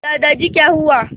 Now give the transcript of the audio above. दादाजी क्या हुआ